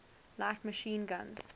light machine guns